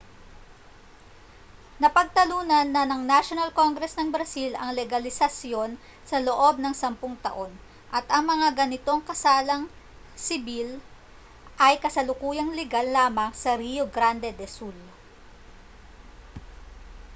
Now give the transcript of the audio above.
napagtalunan na ng national congress ng brazil ang legalisasyon sa loob ng 10 taon at ang mga ganitong kasalang sibil ay kasalukuyang ligal lamang sa rio grande do sul